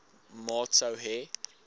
maat sou hê